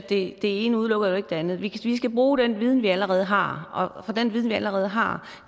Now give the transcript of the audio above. det ene udelukker det andet vi skal bruge den viden vi allerede har og den viden vi allerede har